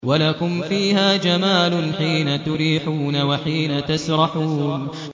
وَلَكُمْ فِيهَا جَمَالٌ حِينَ تُرِيحُونَ وَحِينَ تَسْرَحُونَ